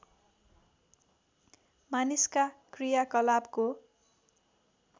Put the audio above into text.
मानिसका क्रियाकलापको